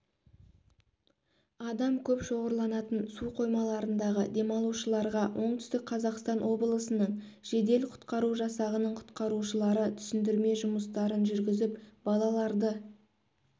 адам көп шоғырланатын су қоймаларындағы демалушыларға оңтүстік қазақстан облысының жедел-құтқару жасағының құтқарушылары түсіндірме жұмыстарын жүргізіп балаларды